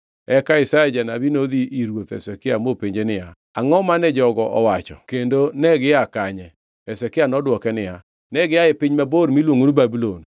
Eka Isaya janabi nodhi ir ruoth Hezekia mopenje niya, “Angʼo mane jogo owacho kendo negia kanye?” Hezekia nodwoke niya, “Negia e piny mabor miluongo ni Babulon.”